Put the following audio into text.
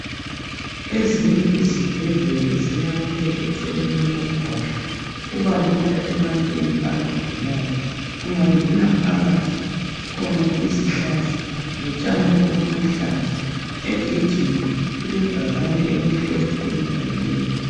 Ezinye izibhedlela ziyakhwe eceleni komgwaqo. Kubalula ebantwini abagulayo. Ungangena phakathi kukhona izihlahla lotshani obuluhlaza. Egedini kulebhakane elimhlophe elibhaliweyo.